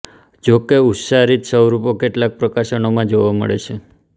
જોકે ઉચ્ચારીત સ્વરૂપો કેટલાક પ્રકાશનોમાં જોવા મળે છે